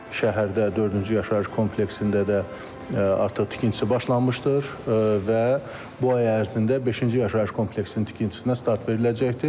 Şəhərdə dördüncü yaşayış kompleksində də artıq tikintisi başlanmışdır və bu ay ərzində beşinci yaşayış kompleksinin tikintisinə start veriləcəkdir.